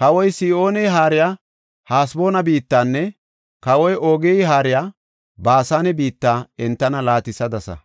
Kawoy Sihooney haariya Haseboona biittanne kawoy Oogey haariya Baasane biitta entana laatisadasa.